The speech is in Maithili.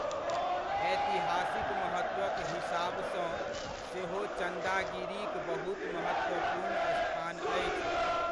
ऐतिहासिक महत्वक हिसाबसँ सेहो चन्दागिरीक बहुत महत्वपूर्ण स्थान अछि।